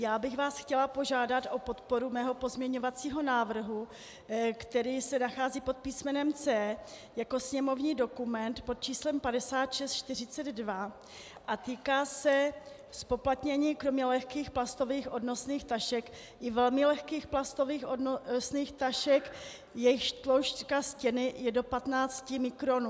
Já bych vás chtěla požádat o podporu svého pozměňovacího návrhu, který se nachází pod písmenem C jako sněmovní dokument pod číslem 5642 a týká se zpoplatnění kromě lehkých plastových odnosných tašek i velmi lehkých plastových odnosných tašek, jejichž tloušťka stěny je do 15 mikronů.